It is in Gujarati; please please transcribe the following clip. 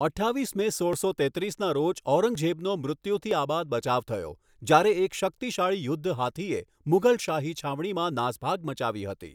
અઠ્ઠાવીસ મે ઓળસો તેત્રીસના રોજ, ઔરંગઝેબનો મૃત્યુથી આબાદ બચાવ થયો જ્યારે એક શક્તિશાળી યુદ્ધ હાથીએ મુઘલ શાહી છાવણીમાં નાસભાગ મચાવી હતી.